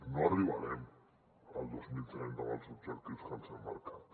no arribarem al dos mil trenta amb els objectius que ens hem marcat